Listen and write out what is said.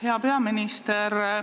Hea peaminister!